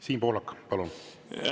Siim Pohlak, palun!